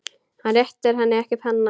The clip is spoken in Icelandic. Hann réttir henni ekki penna.